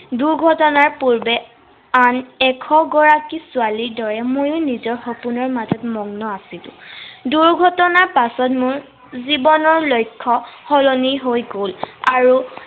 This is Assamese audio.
দূৰ্ঘটনাৰ পূৰ্বে, আন এশগৰাকী ছোৱালীৰ দৰে মইও নিজৰ সপোনৰ মাজত মগ্ন আছিলো। দূৰ্ঘটনাৰ পিছত মোৰ জীৱনৰ লক্ষ্য় সলনি হৈ গল। আৰু